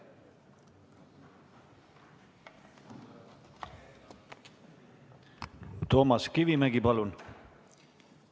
Toomas Kivimägi, palun!